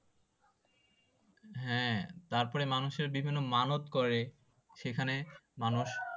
হ্যাঁ তারপর মানুষের বিভিন্ন মানত করে সেখানে মানুষ